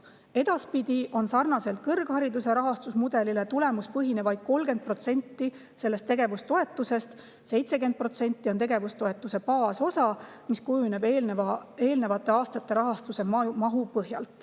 Edaspidi on sarnaselt kõrghariduse rahastamise mudeliga tulemuspõhine vaid 30% tegevustoetusest ja 70% on tegevustoetuse baasosa, mis kujuneb eelnevate aastate rahastuse mahu põhjal.